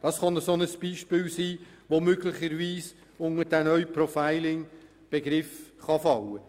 Dieser neue Begriff kann also zum Beispiel in dieses Gebiet fallen.